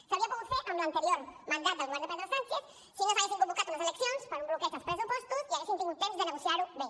s’hauria pogut fer en l’anterior mandat del govern de pedro sánchez si no s’haguessin convocat unes eleccions per un bloqueig als pressupostos i haguéssim tingut temps de negociar ho bé